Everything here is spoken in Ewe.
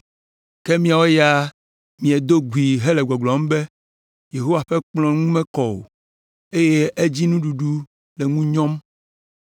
“Ke miawo ya miedo gui hele gbɔgblɔm be, ‘Yehowa ƒe kplɔ̃ ŋu mekɔ o,’ eye ‘edzinuɖuɖu le ŋu nyɔm.’